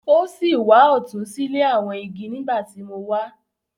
O si wà ọtun sile awọn igi nigbati mo wá.